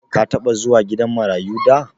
Ka taɓa zuwa gidan marayu da?